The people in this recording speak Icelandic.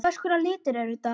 Hvers konar litur er þetta?